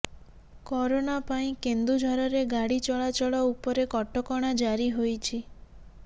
corona ପାଇଁ କେନ୍ଦୁଝରରେ ଗାଡ଼ି ଚଳାଚଳ ଉପରେ କଟକଣା ଜାରି ହୋଇଛି